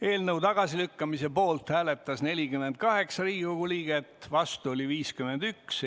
Eelnõu tagasilükkamise poolt hääletas 48 Riigikogu liiget, vastu oli 51.